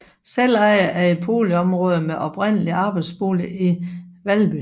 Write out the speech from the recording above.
Selveje er et boligområde med oprindeligt arbejderboliger i Valby